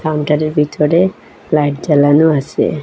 কাউন্টারের ভিতরে লাইট জ্বালানো আসে।